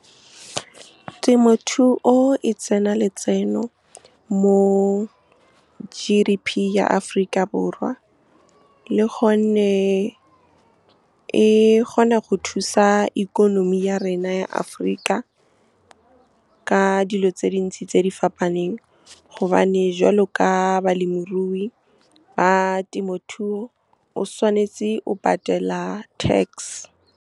Temothuo e tsena letseno mo G_D_P ya Aforika Borwa, le gonne e kgona go thusa ikonomi ya rena ya Afrika ka dilo tse dintsi tse di fapaneng gobane, jwalo ka balemirui ba temothuo, o tshwanetse o patela tax. Temothuo e tsena letseno mo G_D_P ya Aforika Borwa, le gonne e kgona go thusa ikonomi ya rena ya Afrika ka dilo tse dintsi tse di fapaneng gobane, jwalo ka balemirui ba temothuo, o tshwanetse o patela tax.